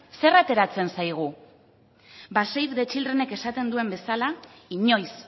zer ateratzen zaigu ba save the childrenek esaten deun bezala inoiz